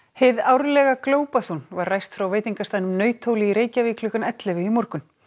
hið árlega var ræst frá veitingastaðnum í Reykjavík klukkan ellefu í morgun